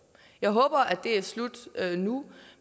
jeg håber at det er slut nu